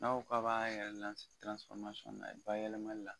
N'a ko k'a b'a yɛrɛ bayɛlɛmali la.